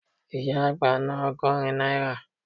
Ìyá àgbá ná ọgọ́rin náírà